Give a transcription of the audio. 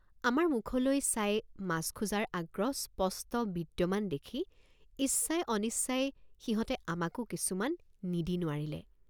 আমাৰ মুখলৈ চাই মাছ খোজাৰ আগ্ৰহ স্পষ্ট বিদ্যমান দেখি ইচ্ছাই অনিচ্ছাই সিহঁতে আমাকো কিছুমান নিদি নোৱাৰিলে।